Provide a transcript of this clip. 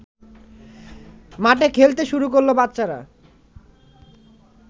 মাঠে খেলতে শুরু করল বাচ্চারা